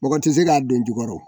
Mɔgɔ tɛ se k'a don jukɔrɔ